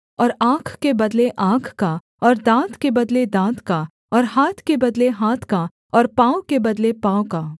और आँख के बदले आँख का और दाँत के बदले दाँत का और हाथ के बदले हाथ का और पाँव के बदले पाँव का